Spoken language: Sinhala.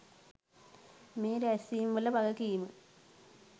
මේ රැස්වීම්වල වගකීම